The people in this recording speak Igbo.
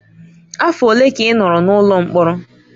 Afọ ole ka ị nọrọ n'ụlọ mkpọrọ?